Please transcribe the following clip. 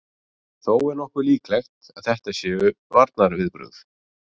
Þó er nokkuð líklegt að þetta séu varnarviðbrögð.